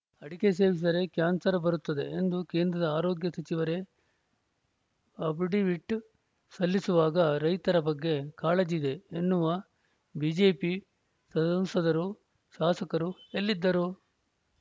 ಅಡಕೆ ಸೇವಿಸಿದರೆ ಕ್ಯಾನ್ಸರ್‌ ಬರುತ್ತದೆ ಎಂದು ಕೇಂದ್ರದ ಆರೋಗ್ಯ ಸಚಿವರೇ ಅಫಿಡವಿಟ್‌ ಸಲ್ಲಿಸುವಾಗ ರೈತರ ಬಗ್ಗೆ ಕಾಳಜಿ ಇದೆ ಎನ್ನುವ ಬಿಜೆಪಿ ಸಂಸದರು ಶಾಸಕರು ಎಲ್ಲಿದ್ದರು